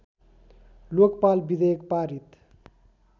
लोकपाल विधेयक पारित